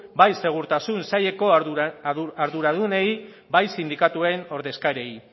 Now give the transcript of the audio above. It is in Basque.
bai segurtasun saileko arduradunei bai sindikatuen ordezkariei